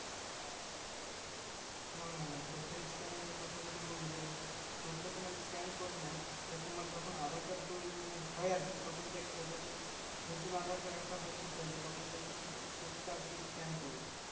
নানানা চোখের Scanner এর কথা যদি বলি দেখো চোখে তোমার Scanner করে নেয় যে তোমার যখন aadhar card তৈরি মানে হয় আরকি তখন দেখবে যখন নতুন aadhar card একটা হচ্ছে তৈরি তখন দেখবে চোখ টা আরকি Scan করবে